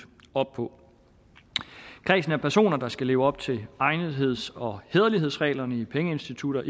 op på kredsen af personer der skal leve op til egnetheds og hæderlighedsreglerne i pengeinstitutter